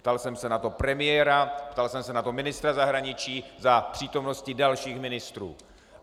Ptal jsem se na to premiéra, ptal jsem se na to ministra zahraničí za přítomnosti dalších ministrů.